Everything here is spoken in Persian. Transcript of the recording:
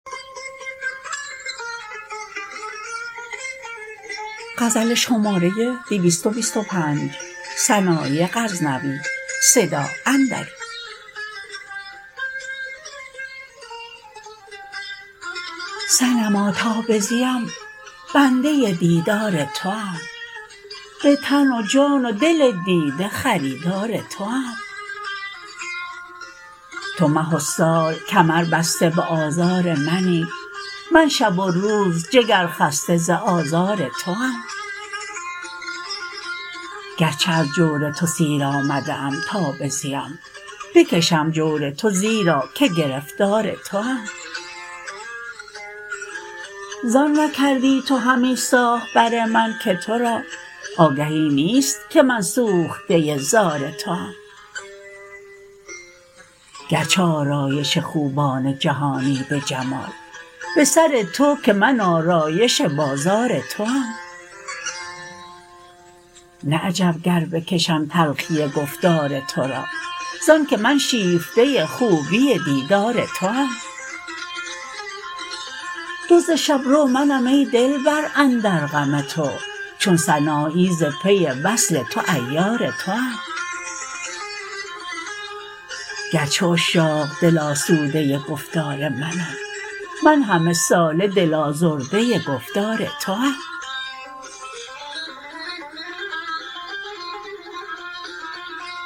صنما تا بزیم بنده دیدار توام بتن و جان و دل دیده خریدار توام تو مه و سال کمر بسته به آزار منی من شب و روز جگر خسته ز آزار توام گرچه از جور تو سیر آمده ام تا بزیم بکشم جور تو زیرا که گرفتار توام زان نکردی تو همی ساخت بر من که ترا آگهی نیست که من سوخته زار توام گرچه آرایش خوبان جهانی به جمال به سر تو که من آرایش بازار توام نه عجب گر بکشم تلخی گفتار ترا زان که من شیفته خوبی دیدار توام دزد شبرو منم ای دلبر اندر غم تو چون سنایی ز پی وصل تو عیار توام گرچه عشاق دل آسوده گفتار منند من همه ساله دل آزرده گفتار توام